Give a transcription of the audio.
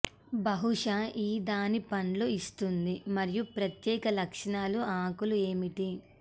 బహుశా ఈ దాని పండ్లు ఇస్తుంది మరియు ప్రత్యేక లక్షణాలు ఆకులు ఏమిటి